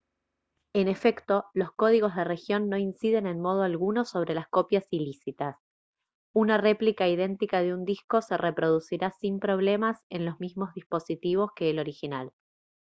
en efecto los códigos de región no inciden en modo alguno sobre las copias ilícitas una réplica idéntica de un disco se reproducirá sin problemas en los mismos dispositivos que el original